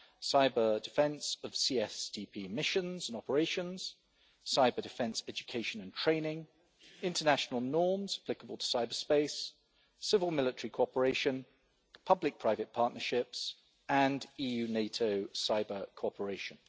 Cyber-defence of CSDP missions and operations, cyber-defence education and training, international norms applicable to cyberspace, civil military cooperation, public-private partnerships and EU NATO cyber-cooperation.